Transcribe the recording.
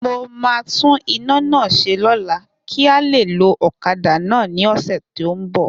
Mo ma tún ina náà ṣẹ lóla kí a lè lo ọ̀kadà náà ní ọ̀sẹ̀ tí o nbọ